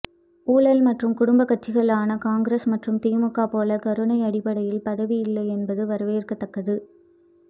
ஊழல் மற்றும் குடும்ப கட்சிகளான காங்கிரஸ் மற்றும் திமுக போல கருணை அடிப்படையில் பதவி இல்லை என்பது வரவேற்கத்தக்கது